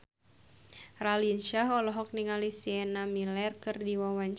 Raline Shah olohok ningali Sienna Miller keur diwawancara